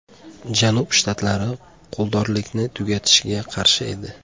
Janub shtatlari quldorlikni tugatishga qarshi edi.